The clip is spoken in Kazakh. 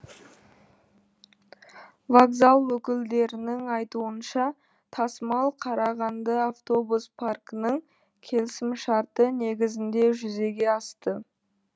вокзал өкілдерінің айтуынша тасымал қарағанды автобус паркінің келісімшарты негізінде жүзеге асты